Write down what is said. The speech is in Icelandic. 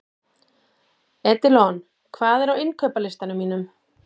Edilon, hvað er á innkaupalistanum mínum?